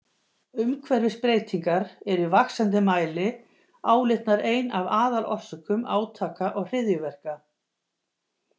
Umhverfisbreytingar eru í vaxandi mæli álitnar ein af aðalorsökum átaka og hryðjuverka.